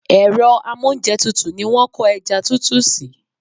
Èro amóúnjetutù ni wón ko eja tutu si